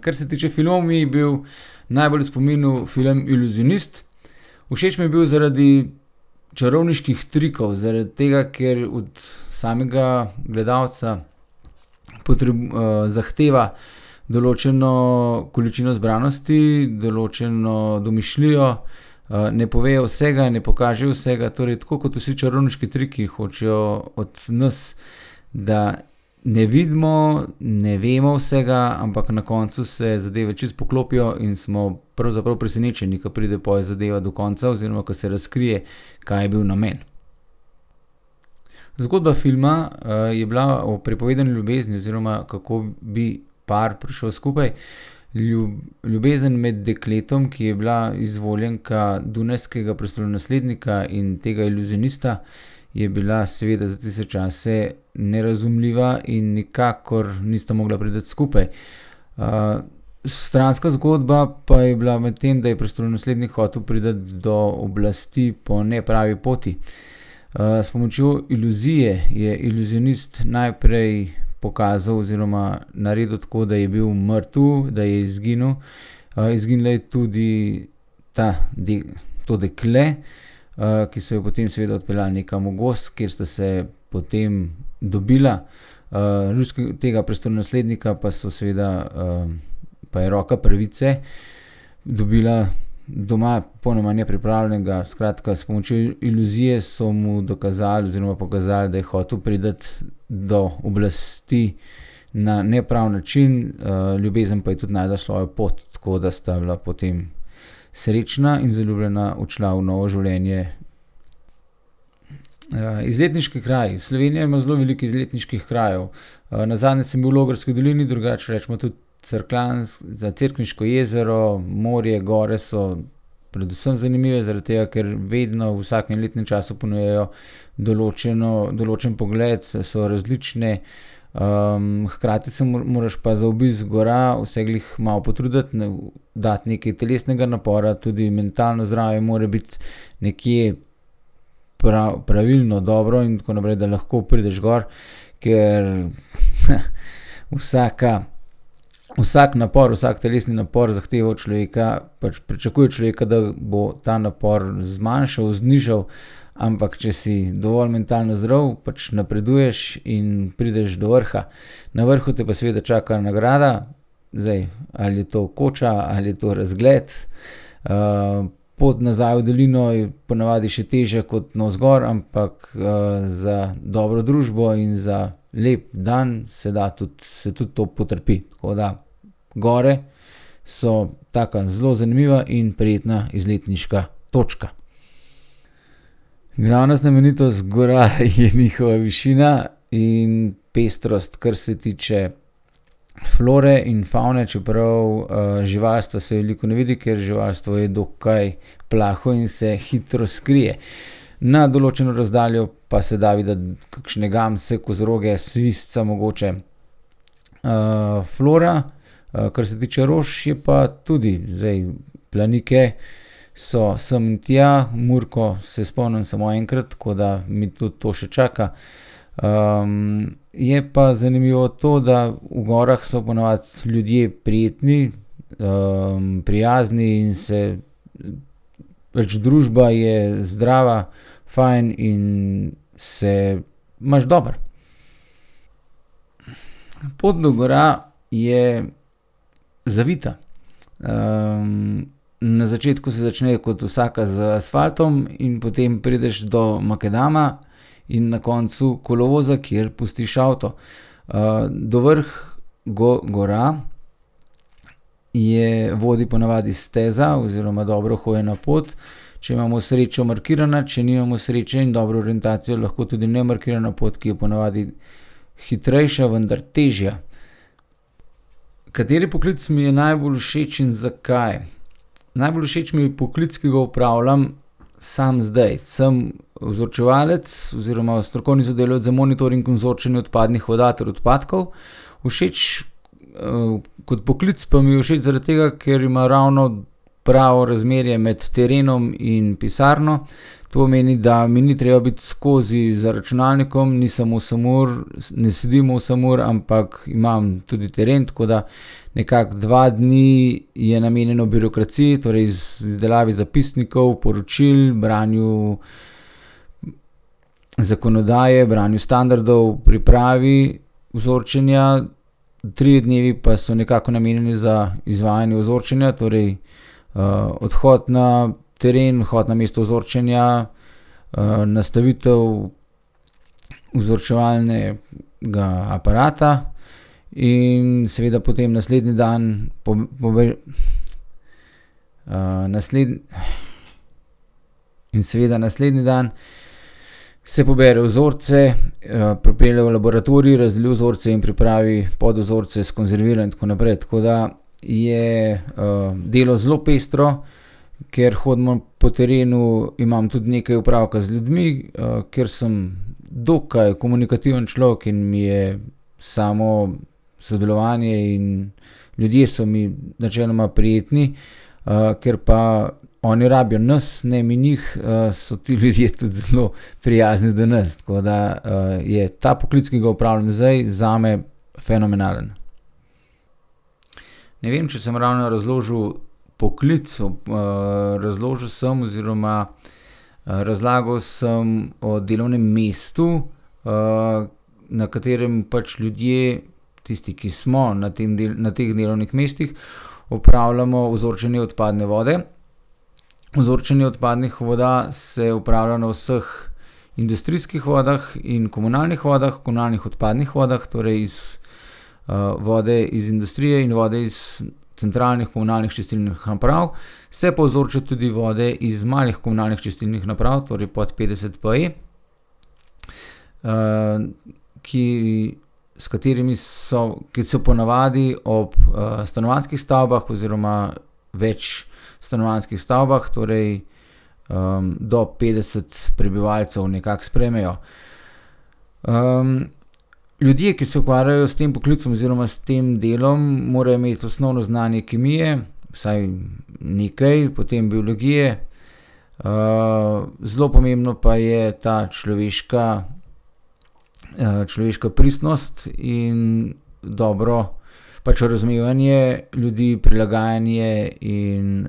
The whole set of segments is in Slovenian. kar se tiče filmov, mi je bil najbolj v spominu film Iluzionist. Všeč mi je bil zaradi čarovniških trikov, zaradi tega, ker od samega gledalca zahteva določeno količino zbranosti, določeno domišljijo, ne povejo vsega, ne pokažejo vsega. Torej tako kot vsi čarovniški triki hočejo od nas, da ne vidimo, ne vemo vsega, ampak na koncu se zadeve čisto poklopijo in smo pravzaprav presenečeni, ke pride pol zadeva do konca oziroma ko se razkrije, kaj je bil namen. Zgodba filma, je bila o prepovedani ljubezni oziroma kako bi par prišel skupaj. ljubezen med dekletom, ki je bila izvoljenka dunajskega prestolonaslednika in tega iluzionista, je bila seveda za tiste čase nerazumljiva in nikakor nista mogla priti skupaj. stranska zgodba pa je bila medtem, da je prestolonaslednik hotel priti do oblasti po nepravi poti. s pomočjo iluzije je iluzionist najprej pokazal oziroma naredil tako, da je bil mrtev, da je izginil, izginila je tudi ta to dekle, ki so jo potem seveda odpeljali nekam v gozd, kjer sta se potem dobila. tega prestolonaslednika pa so seveda, pa je roka pravice dobila doma popolnoma nepripravljenega. Skratka, s pomočjo iluzije so mu dokazali oziroma pokazali, da je hotel priti do oblasti na nepravi način, ljubezen pa je tudi našla svojo pot, tako da sta bila potem srečna in zaljubljena odšla v novo življenje. izletniški kraj. Slovenija ima zelo veliko izletniških krajev. nazadnje sem bil v Logarski dolini, drugače recimo tudi Cerkljansko, za Cerkniško jezero, morje, gore so predvsem zanimive zaradi tega, ker vedno v vsakem letnem času ponujajo določeno, določen pogled, so različne. hkrati se moraš pa za obisk gora vseglih malo potruditi, ne, dati nekaj telesnega napora, tudi mentalno zdravje mora biti nekje pravilno, dobro in tako naprej, da lahko prideš gor, ker, vsaka, vsak napor, vsak telesni napor zahteva od človeka, pač pričakuje od človeka, da bo ta napor zmanjšal, znižal, ampak če si dovolj mentalno zdrav, pa pač napreduješ in prideš do vrha. Na vrhu potem pa seveda čaka nagrada. Zdaj, ali je to koča ali je to razgled. pot nazaj v dolino je po navadi še težja kot navzgor, ampak, za dobro družbo in za lep dan se da tudi, se tudi to potrpi. Tako da gor so taka, zelo zanimiva in prijetna izletniška točka. Glavna znamenitost gora je njihova višina in pestrost, kar se tiče flore in favne, čeprav, živalstva se veliko ne vidi, ker živalstvo je dokaj plaho in se hitro skrije. Na določeno razdaljo pa se da videti kakšne gamse, kozoroge, svizca mogoče. flora, kar se tiče rož, je pa tudi. Zdaj, planike so sem in tja, murko se spomnim samo enkrat, tako da me tudi to še čaka. je pa zanimivo to, da v gorah so po navadi ljudje prijetni, prijazni in se, pač družba je zdrava, fajn in se imaš dobro. Pot do gora je zavita. na začetku se začne kot vsaka z asfaltom in potem prideš do makadama in na koncu kolovoza, kjer pustiš avto. do vrh gora je, vodi po navadi steza oziroma dobro uhojena pot, če imamo srečo, markirana, če nimamo sreče in dobro orientacijo, lahko tudi nemarkirana pot, ki je po navadi hitrejša, vendar težja. Kateri poklic mi je najbolj všeč in zakaj? Najbolj všeč mi je poklic, ki ga opravljam sam zdaj. Sem vzorčevalec oziroma strokovni sodelavec za monitoring in vzorčenje odpadnih voda ter odpadkov. Všeč, kot poklic pa mi je všeč zaradi tega, ker ima ravno pravo razmerje med terenom in pisarno. To pomeni, da mi ni treba biti skozi za računalnikom, nisem osem ur, ne sedim osem ur, ampak imam tudi teren, tako da nekako dva dni je namenjeno birokraciji, torej izdelavi zapisnikov, poročil, branju zakonodaje, branju standardov, pripravi vzorčenja, trije dnevi pa so nekako namenjeni za izvajanje vzorčenja, torej, odhod na teren, odhod na mesto vzorčenja, nastavitev vzorčevalnega aparata in seveda potem naslednji dan ... In seveda naslednji dan se pobere vzorce, pripelje v laboratorij, razdeli vzorce in pripravi podvzorce, skonzervira in tako naprej. Tako da je, delo zelo pestro. Ker hodimo po terenu, imam tudi nekaj opravka z ljudmi. ker sem dokaj komunikativen človek in mi je samo sodelovanje in ljudje so mi načeloma prijetni, ker pa oni rabijo nas, ne mi njih, so ti ljudje tudi zelo prijazni do nas. Tako da, je ta poklic, ki ga opravljam zdaj, zame fenomenalen. Ne vem, če sem ravno razložil poklic razložil sem oziroma, razlagal sem o delovnem mestu, na katerem pač ljudje, tisti, ki smo na tem na teh delovnih mestih, opravljamo vzorčenje odpadne vode. Vzorčenje odpadnih voda se opravlja na vseh industrijskih vodah in komunalnih vodah, komunalnih odpadnih vodah, torej iz, vode iz industrije in vode iz centralnih komunalnih čistilnih naprav. Se pa vzorčijo tudi vode iz malih komunalnih čistilnih naprav, torej pod petdeset PE, ki, s katerimi so, ki so po navadi ob, stanovanjskih stavbah oziroma večstanovanjskih stavbah, torej, do petdeset prebivalcev nekako sprejmejo. ljudje, ki se ukvarjajo s tem poklicem oziroma s tem delom, morajo imeti osnovno znanje kemije, vsaj nekaj, potem biologije, zelo pomembna pa je ta človeška, človeška pristnost in dobro pač razumevanje ljudi, prilagajanje in,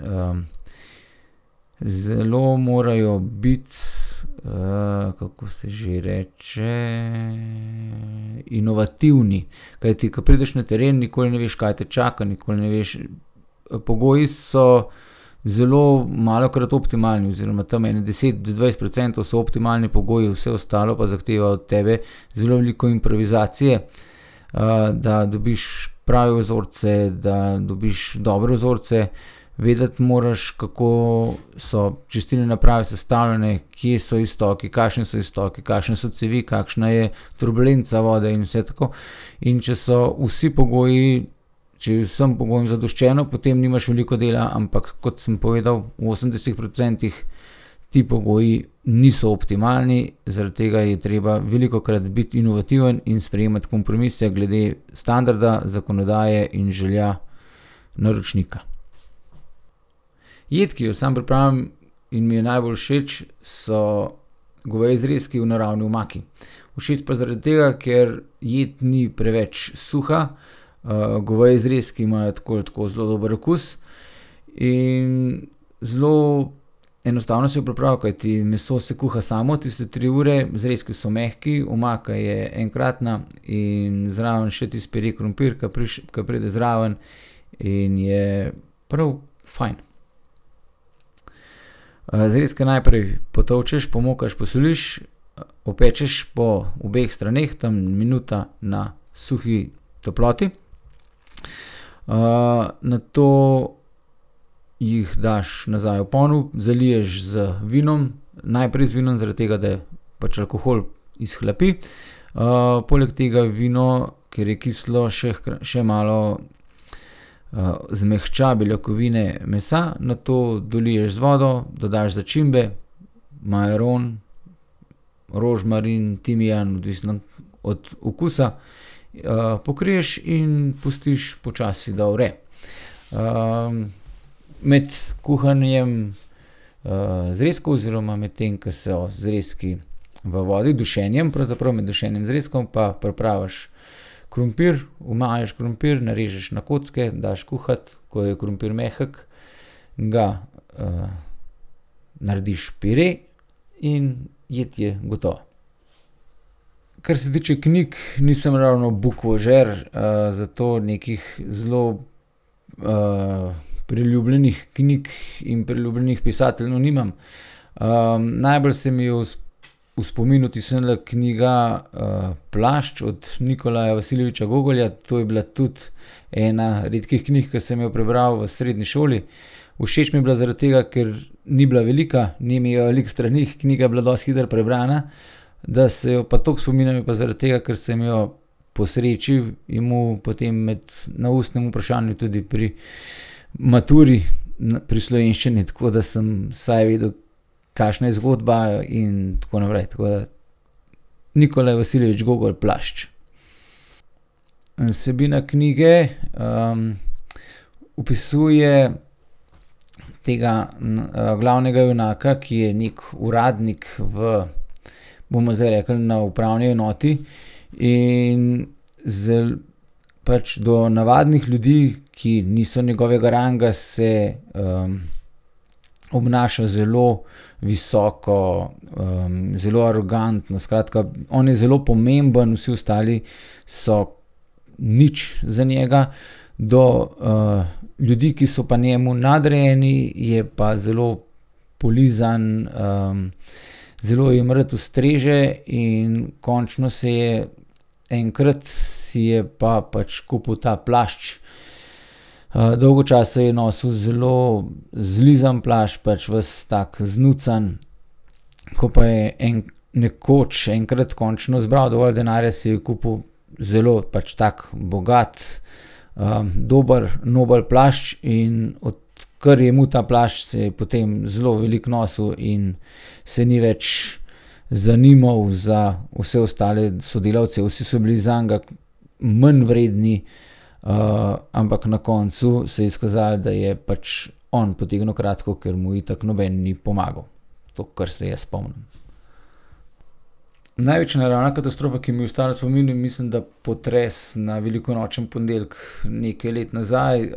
zelo morajo biti, kako se že reče, inovativni. Kajti ko prideš na teren, nikoli ne veš, kaj te čaka, nikoli ne veš. pogoji so zelo malokrat optimalni oziroma tam ene deset do dvajset procentov so optimalni pogoji, vse ostalo pa zahteva od tebe zelo veliko improvizacije, da dobiš prave vzorce, da dobiš dobre vzorce. Vedeti moraš, kako so čistilne naprave sestavljene, kje so iztoki, kakšni so iztoki, kakšne so cevi, kakšna je turbulenca vode in vse tako. In če so vsi pogoji, če je vsem pogojem zadoščeno, potem nimaš veliko dela. Ampak kot sem povedal, v osemdesetih procentih ti pogoji niso optimalni, zaradi tega je treba velikokrat biti inovativen in sprejemati kompromise glede standarda, zakonodaje in želja naročnika. Jed, ki jo sam pripravim in mi je najbolj všeč, so goveji zrezki v naravni omaki. Všeč pa zaradi tega, ker jed ni preveč suha, goveji zrezki imajo tako ali tako zelo dober okus in zelo enostavno se jih pripravi, kajti meso se kuha samo, tiste tri ure, zrezki so mehki, omaka je enkratna in zraven še tisti pire krompir, ke ke pride zraven, in je prav fajn. zrezke najprej potolčeš, pomokaš, posoliš, opečeš po obeh straneh, tam minuta na suhi toploti. nato jih daš nazaj v ponev, zaliješ z vinom, najprej z vinom, zaradi tega, da pač alkohol izhlapi. poleg tega vino, ker je kislo, še še malo, zmehča beljakovine mesa. Nato doliješ z vodo, dodaš začimbe, majaron, rožmarin, timijan, odvisno od okusa. pokriješ in pustiš počasi, da vre. med kuhanjem, zrezkov, oziroma medtem ke so zrezki v vodi, dušenjem pravzaprav, med dušenjem zrezkov, pa pripraviš krompir. Omajiš krompir, narežeš na kocke, daš kuhati. Ko je krompir mehek, ga, narediš pire in jed je gotova. Kar se tiče knjig, nisem ravno bukvožer, zato nekih zelo, priljubljenih knjig in priljubljenih pisateljev nimam. najbolj se mi je v v spomin vtisnila knjiga, Plašč od Nikolaja Vasilijeviča Gogolja. To je bila tudi ena redkih knjig, ke sem jo prebral v srednji šoli. Všeč mi je bila zaradi tega, ker ni bila velika, ni imela veliko strani, knjiga je bila dosti hitro prebrana. Da se jo pa tako spominjam, je pa zaradi tega, ker sem jo po sreči imel potem med, na ustnem vprašanju tudi pri maturi pri slovenščini, tako da sem vsaj vedel, kakšna je zgodba in tako naprej. Tako da Nikolaj Vasilijevič Gogolj, Plašč. Vsebina knjige, Opisuje tega glavnega junaka, ki je neki uradnik v, bomo zdaj rekli, na upravni enoti, in pač do navadnih ljudi, ki niso njegovega ranga, se, obnaša zelo visoko, zelo arogantno, skratka, on je zelo pomemben, vsi ostali so nič za njega. Do, ljudi, ki so pa njemu nadrejeni, je pa zelo polizan, zelo jim rad ustreže in končno se je, enkrat si je pa pač kupil ta plašč. dolgo časa je nosil zelo zlizan plašč, pač ves tak znucan, ko pa je nekoč, enkrat končno zbral dovolj denarja, si je kupil zelo pač tak bogat, dober, nobel plašč, in odkar je imel ta plašč, se je potem zelo veliko nosil in se ni več zanimal za vse ostale sodelavce. Vsi so bili zanj manjvredni, ampak na koncu se je izkazalo, da je pač on potegnil kratko, kar mu itak noben ni pomagal. To, kar se jaz spomnim. Največja naravna katastrofa, ki mi je ostala v spominu, je mislim, da potres na velikonočni ponedeljek nekaj let nazaj.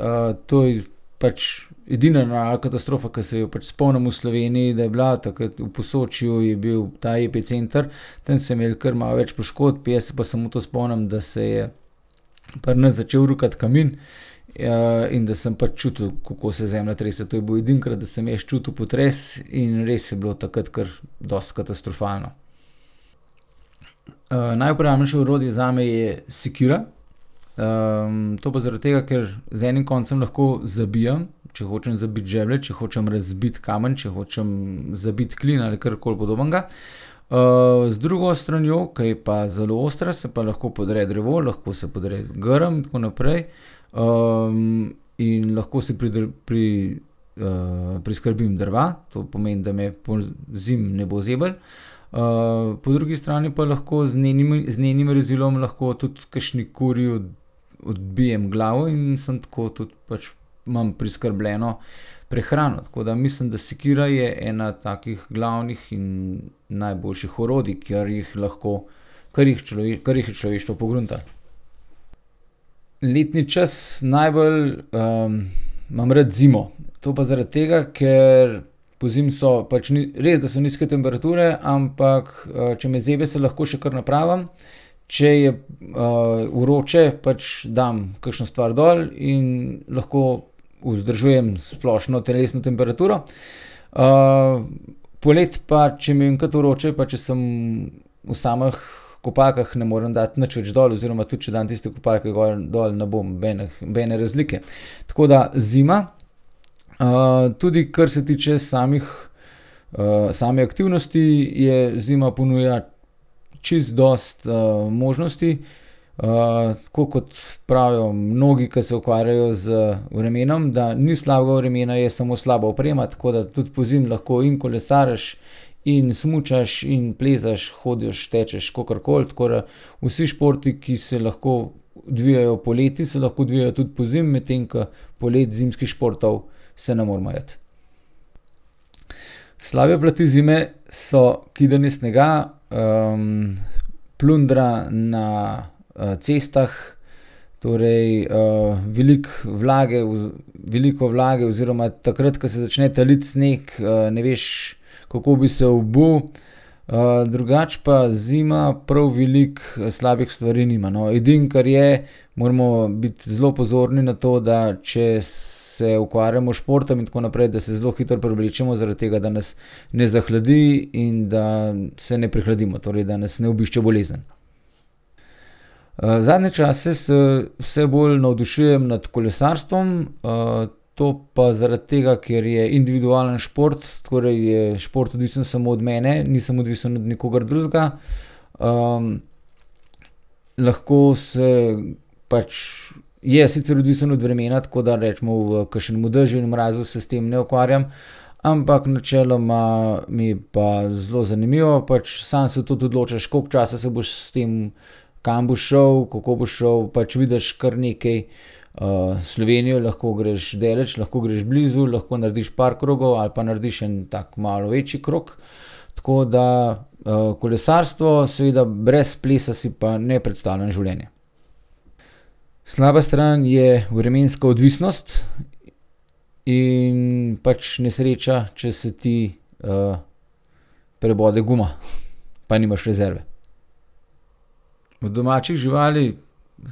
to je pač edina naravna katastrofa, ke se jo pač spomnim v Sloveniji, da je bila. Takrat v Posočju je bil ta epicenter. Tam so imeli kar malo več poškodb, jaz se pa samo to spomnim, da se je pri nas začel rukati kamin, in da sem pač čutil, kako se zemlja trese. To je bilo edinokrat, da sem jaz čutil potres, in res je bilo takrat kar dosti katastrofalno. najuporabnejše orodje zame je sekira. to pa zaradi tega, ker z enim koncem lahko zabijam, če hočem zabiti žeblje, če hočem razbiti kamen, če hočem zabiti klin ali karkoli podobnega, z drugo stranjo, ke je pa zelo ostra, se pa lahko podre drevo, lahko se podre grm, tako naprej. in lahko se priskrbim drva. To pomeni, da me pozimi ne bo zeblo. po drugi strani pa lahko z z njenim rezilom lahko tudi kakšni kuri odbijem glavo in sem tako tudi pač imam preskrbljeno prehrano, tako da mislim, da sekira je ena takih glavnih in najboljših orodij, kar jih lahko, kar jih kar jih je človeštvo pogruntalo. Letni čas najbolj, imam rad zimo. To pa zaradi tega, ker pozimi so, pač res, da so nizke temperature, ampak, če me zebe, še lahko še kar napravim, če je, vroče, pač dam kakšno stvar dol in lahko vzdržujem splošno telesno temperaturo. poleti pa če mi je enkrat vroče pa če sem v samih kopalkah, ne moram dati nič več dol oziroma tudi če dam tiste kopalke gor, dol, ne bo nobenih, nobene razlike. Tako da zima. tudi kar se tiče samih, same aktivnosti, je zima ponuja čisto dosti, možnosti. tako kot pravijo mnogi, ke se ukvarjajo z vremenom, da ni slabega vremena, je samo slaba oprema. Tako da tudi pozimi lahko in kolesariš in smučaš in plezaš, hodiš, tečeš, kakorkoli. Tako da vsi športi, ki se lahko odvijajo poleti, se lahko odvijajo tudi pozimi, medtem ko poleti zimskih športov se ne moremo iti. Slabe plati zime so kidanje snega, plundra na, cestah, torej, veliko vlage v veliko vlage oziroma takrat, ko se začne taliti sneg, ne veš, kako bi se obul. drugače pa zima prav veliko slabih stvari nima, no. Edino, kar je, moramo biti zelo pozorni na to, da če se ukvarjamo s športom in tako naprej, da se zelo hitro preoblečemo, zaradi tega, da nas ne zahladi in da se ne prehladimo, torej da nas ne obišče bolezen. zadnje čase s vse bolj navdušujem nad kolesarstvom. to pa zaradi tega, ker je individualni šport, torej je šport odvisen samo od mene, nisem odvisen od nikogar drugega. lahko se pač, je sicer odvisno od vremena, tako da recimo v kakšnem dežju in mrazu se s tem ne ukvarjam, ampak načeloma mi je pa zelo zanimivo, pač sam se tudi odločiš, koliko časa se boš s tem, kam boš šel, kako boš šel. Pač vidiš kar nekaj, Slovenije. Lahko greš daleč, lahko greš blizu, lahko narediš par krogov ali pa narediš en tak malo večji krog. Tako da, kolesarstvo, seveda brez plesa si pa ne predstavljam življenja. Slaba stran je vremenska odvisnost in pač nesreča, če se ti, prebode guma pa nimaš rezerve. Od domačih živali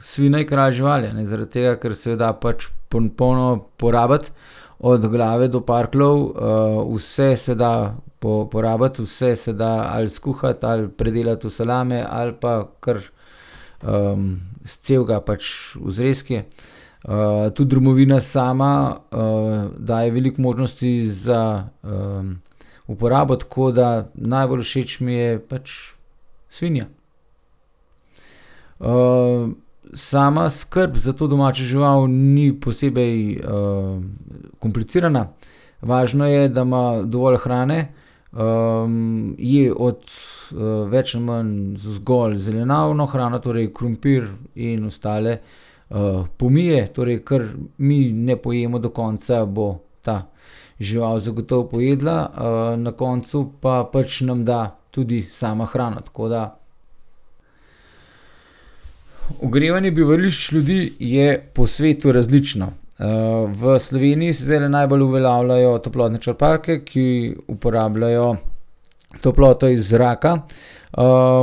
svinja je kralj živali, a ne, zaradi tega, ker se jo da pač popolnoma porabiti. Od glave do parkljev, vse se da porabiti, vse se da ali skuhati ali predelati v salame ali pa kar, scelega pač v zrezke. tudi drobovina sama, daje veliko možnosti za, uporabo, tako da najbolj všeč mi je pač svinja. sama skrb za to domačo žival ni posebej, komplicirana, važno je, da ima dovolj hrane. je od, več ali manj zgolj zelenjavno hrano, torej krompir in ostale, pomije, torej kar mi ne pojemo do konca, bo ta žival gotovo pojedla, na koncu pa pač nam da tudi sama hrano. Tako da ... Ogrevanje bivališč ljudi je po svetu različno. v Sloveniji se zdajle najbolj uveljavljajo toplotne črpalke, ki uporabljajo toploto iz zraka.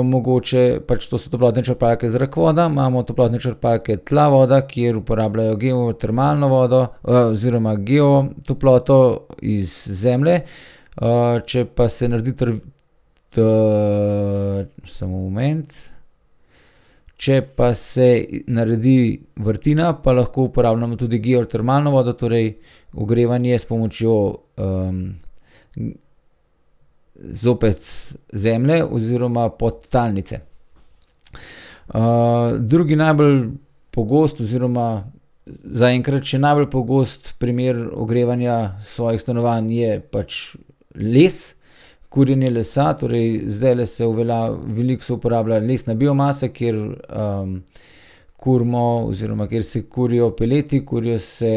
mogoče pač to so toplotne črpalke zrak-voda, imamo toplotne črpalke tla-voda, kjer uporabljajo geotermalno vodo, oziroma geotoploto iz zemlje. če pa se naredi samo moment, če pa se naredi vrtina, pa lahko uporabljamo tudi geotermalno vodo, torej ogrevanje s pomočjo, zopet zemlje oziroma podtalnice. drugi najbolj pogost oziroma zaenkrat še najbolj pogost primer ogrevanja svojih stanovanj je pač les, kurjenje lesa, torej zdajle se veliko se uporablja lesna biomasa, kjer, kurimo oziroma kjer se kurijo peleti, kurijo se,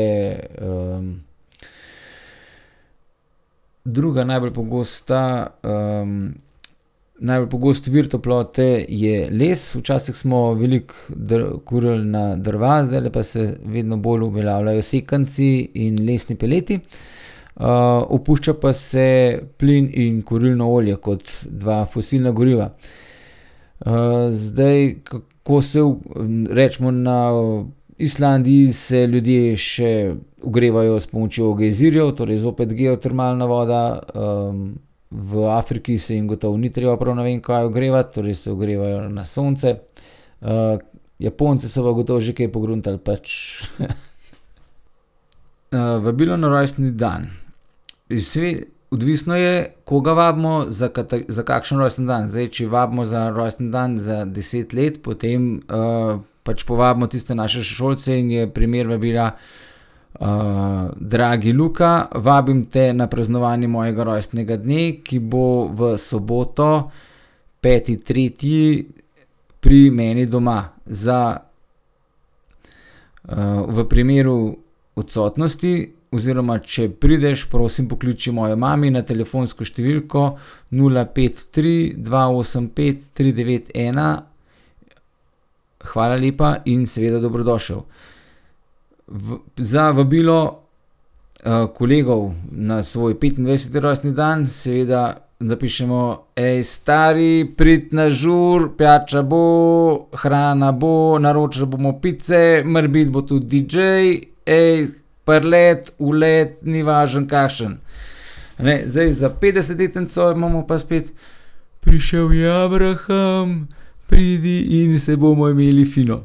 Druga najbolj pogosta, najbolj pogost vir toplote je les. Včasih smo veliko kurili na drva, zdajle pa se vedno bolj uveljavljajo sekanci in lesni peleti. opušča pa se plin in kurilno olje kot dve fosilni gorivi. zdaj kako se recimo na Islandiji se ljudje še ogrevajo s pomočjo gejzirjev, torej zopet geotermalna voda, v Afriki se jim gotovo ni treba prav ne vem kaj ogrevati, torej se ogrevajo na sonce. Japonci so pa gotovo že kaj pogruntali pač . vabilo na rojstni dan. Iz odvisno je, koga vabimo, za za kakšen rojstni dan. Zdaj, če vabimo za rojstni dan za deset let, potem, pač povabimo tiste naše sošolce in je primer vabila: dragi Luka, vabim te na praznovanje mojega rojstnega dne, ki bo v soboto, peti tretji, pri meni doma. Za, v primeru odsotnosti oziroma če prideš, prosim pokliči mojo mami na telefonsko številko nula, pet, tri, dva, osem, pet, tri, devet, ena. Hvala lepa in seveda dobrodošel. za vabilo, kolegov na svoj petindvajseti rojstni dan seveda zapišemo: Ej, stari, pridi na žur! Pijača bo! Hrana bo, naročili bomo pice. Morebiti bo tudi DJ. prileti, uleti, ni važno, kakšen. A ne, zdaj za petdesetletnico imamo pa spet: Prišel je Abraham. Pridi in se bomo imeli fino.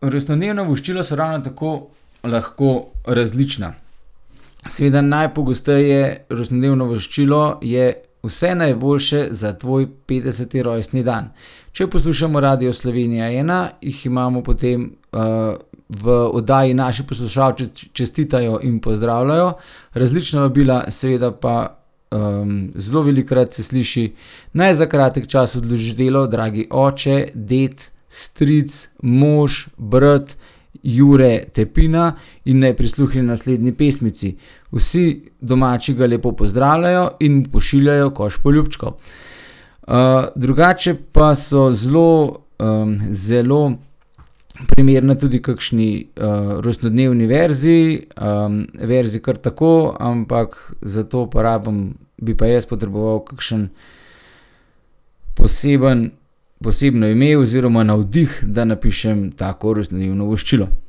Rojstnodnevna voščila so ravno tako lahko različna. Seveda najpogosteje rojstnodnevno voščilo je: Vse najboljše za tvoj petdeseti rojstni dan. Če poslušamo Radio Slovenija ena, jih imamo potem, v oddaji Naši poslušalci čestitajo in pozdravljajo različna vabila, seveda pa, zelo velikokrat se sliši: "Naj za kratek čas odloži delo dragi oče, ded, stric, mož, brat Jure Tepina in naj prisluhne naslednji pesmici. Vsi domači ga lepo pozdravljajo in mu pošiljajo koš poljubčkov." drugače pa so zelo, zelo primerni tudi kakšni, rojstnodnevni verzi, verzi kar tako, ampak za to pa rabim, bi pa jaz potreboval kakšen poseben, posebno ime oziroma navdih, da napišem tako rojstnodnevno voščilo.